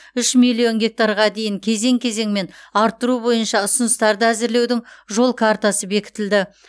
үш миллион гектарға дейін кезең кезеңмен арттыру бойынша ұсыныстарды әзірлеудің жол картасы бекітілді